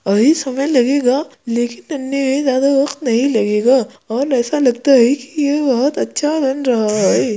अभी समय लगेगा लेकिन बनने ज्यादा वक्त नहीं लगेगा और ऐसा लगता है कि ये बोहत अच्छा बन रहा है।